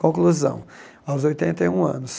Conclusão, aos oitenta e um anos.